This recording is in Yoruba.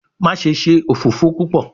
Maṣe ṣe ofofo pupọ